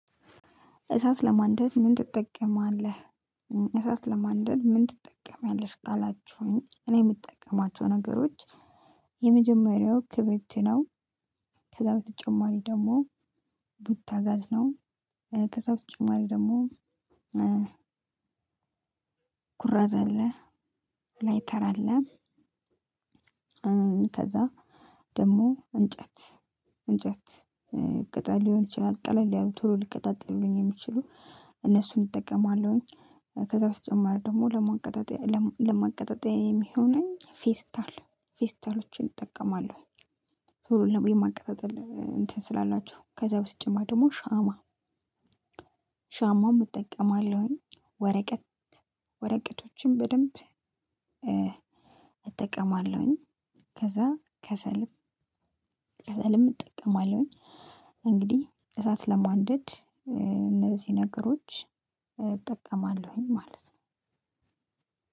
እሳት ለማንደድ ምን ትጠቀማለህ? እሳት ለማንደድ ምን ትጠቀሚያለሽ? ካላችሁኝ እኔ የምጠቀማቸው ነገሮች የመጀመሪያው ክብሪት ነው። ከዛ በተጨማሪ ደግሞ ቡታጋዝ ነው። ከዛ በተጨማሪ ደግሞ ኩራዝ አለ። ላይተር አለ። ከዛ ደግሞ እንጨት እንጨት ቅጠል ሊሆን ይችላል ቀለል ያሉ ቶሎ ሊቀጣጠሉልኝ የሚችሉ እነሱን እጠቀማለሁኝ። ከዛ በተጨማሪ ደግሞ ለማቀጣጠያ ለማቀጣጠያ የሚሆነኝ ፌስታል ፌስታሎችን እጠቀማለሁኝ። ቶሎ የማቀጣጠል እንትን ስላላችሁ ከዛ በተጨማሪ ደግሞ ሻማ ሻማም እጠቀማለሁኝ። ወረቀት ወረቀቶችን በደንብ እጠቀማለሁኝ። ከዛ ከሰልም ከሰልም እጠቀማለሁኝ። እንግዲህ እሳት ለማንደድ እነዚህ ነገሮች እጠቀማለሁኝ ማለት ነው።